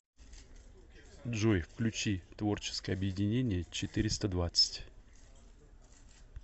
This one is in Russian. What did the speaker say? джой включи творческое объединение четыреста двадцать